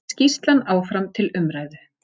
Skýrslan áfram til umræðu